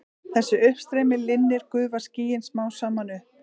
Þegar uppstreymi linnir gufa skýin smám saman upp.